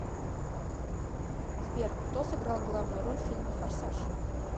сбер кто сыграл главную роль в фильме форсаж